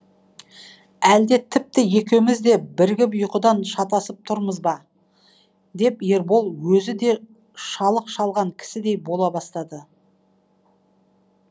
әлде тіпті екеуміз де бірігіп ұйқыдан шатасып тұрмыз ба деп ербол өзі де шалық шалған кісідей бола бастады